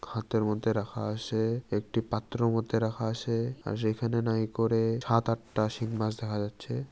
হাতের মধ্যে রাখা আসে। একটি পাত্র মধ্যে রাখা আসে। আর সেখানে নাই করে সাত আটটা শিং মাছ দেখা যাচ্ছে।